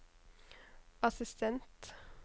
assistent